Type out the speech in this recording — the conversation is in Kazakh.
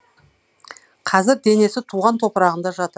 қазір денесі туған топырағында жатыр